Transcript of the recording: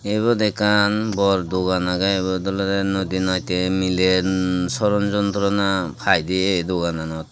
te ibe ode ekkan bor dogan age ebo dolede nady natte mile soron jontorona paide e dogananot.